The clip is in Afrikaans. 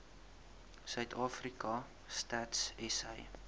suidafrika stats sa